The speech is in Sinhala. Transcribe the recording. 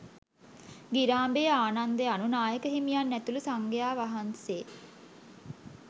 ගිරාඹේ ආනන්ද අනු නායක හිමියන් ඇතුළු සංඝයා වහන්සේ